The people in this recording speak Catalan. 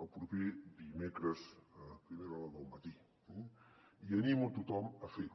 el proper dimecres a primera hora del matí eh i animo a tothom a fer ho